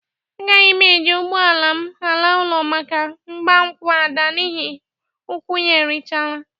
Agaghị m e ji ụgbọ ala m ala ụlọ maka ịgbankwụ Ada n'ihe ụkwụ ya erichala.